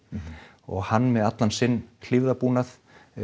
og hann með allan sinn hlífðarbúnað